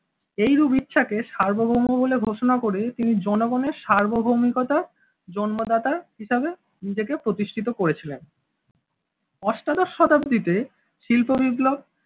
এইরূপ ইচ্ছাকে সার্বভৌম বলে ঘোষণা করে তিনি জনগণের সার্বভৌমিকতার জন্মদাতা হিসাবে নিজেকে প্রতিষ্ঠিত করেছিলেন। অষ্টাদশ শতাব্দীতে শিল্প বিপ্লব